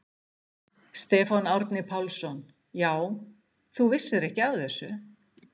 Stefán Árni Pálsson: Já, þú vissir ekki af þessu?